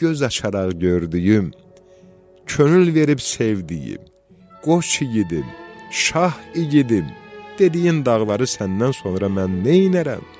Göz açaraq gördüyüm, könül verib sevdiyim, qoç igidim, şah igidim, dediyim dağları səndən sonra mən neyləyərəm?